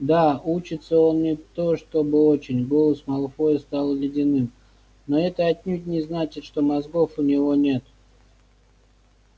да учится он не то чтобы очень голос малфоя стал ледяным но это отнюдь не значит что мозгов у него нет